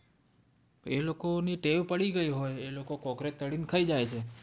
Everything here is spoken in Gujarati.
એ લોકો ને ટેવ પડી ગયી હોય એ લોકો cockroach તળીને ખાય જાય છે